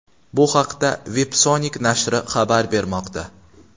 Bu haqda Websonic nashri xabar bermoqda .